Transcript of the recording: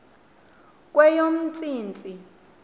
kweyomntsintsi